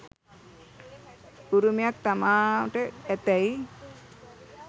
උරුමයක් තමාට ඇතැයි